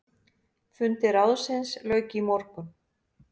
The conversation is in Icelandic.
Fundi ráðsins lauk í morgun.